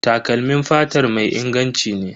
Takalmin fatar mai inganci ne.